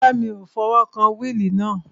Rárá, mi ò fi ọwọ́ kan wíìlì náà